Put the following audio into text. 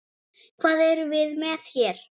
Hvað erum við með hér?